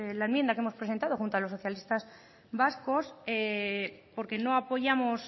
la enmienda que hemos presentado junto a los socialistas vascos porque no apoyamos